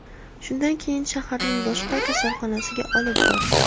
Shundan keyin shaharning boshqa kasalxonasiga olib bordik.